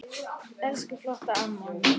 Elsku flotta amma mín.